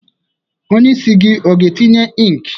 Onye isi gị ọ ga-etinye ink?